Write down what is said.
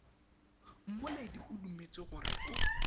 mmoledi o dumetse gore o